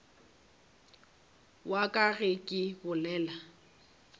wa ka ge ke bolela